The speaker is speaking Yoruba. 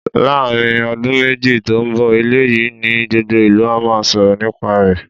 Láàárín ọdún méjì tó ń bọ̀, ilé yìí ni gbogbo ìlú á máa sọ̀rọ̀ nípa rẹ̀.